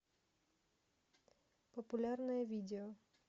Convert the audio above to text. популярное видео